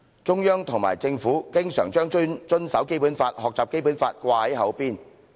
中央及政府經常把遵守《基本法》、學習《基本法》掛在口邊。